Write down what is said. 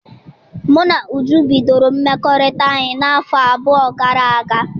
Mụ na Uju bidoro mmekọrịta anyị n'afọ abụọ gara aga m